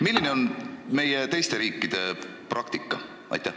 Milline on meie ja teiste riikide praktika?